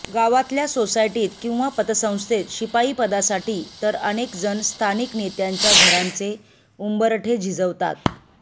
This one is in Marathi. गावातल्या सोसायटीत किंवा पतसंस्थेत शिपाईपदासाठी तर अनेक जण स्थानिक नेत्यांच्या घरांचे उंबरठे झिजवतात